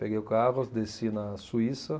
Peguei o carro, desci na Suíça.